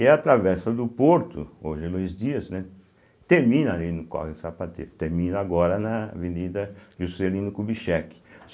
E a Travessa do Porto, hoje é Luiz Dias, né, termina ali no Córrego do Sapateiro, termina agora na Avenida Juscelino Kubitschek.